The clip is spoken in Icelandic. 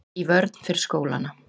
Í vörn fyrir skólana